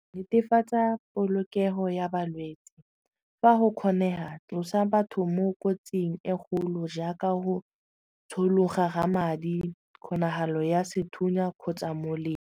Netefatsa polokego ya balwetsi fa go kgonega tlosa batho mo kotsing e kgolo jaaka go tshologa ga madi kgonagalo ya sethunya kgotsa molemo.